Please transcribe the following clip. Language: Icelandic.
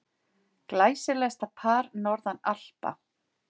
Glæsilegasta par norðan Alpa.